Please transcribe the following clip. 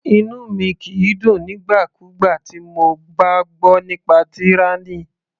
Inú mi kìí dùn nígbà kúgbà tí mo bá gbọ́ nípa tyranny.